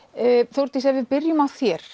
Þórdís ef við byrjum á þér